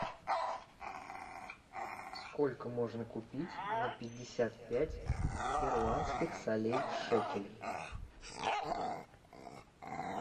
сколько можно купить на пятьдесят пять перуанских солей шекелей